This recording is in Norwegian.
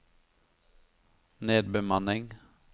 nedbemanningen